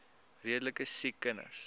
redelike siek kinders